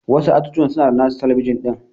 Wasu ajujuwan suna da nasu talabijin din.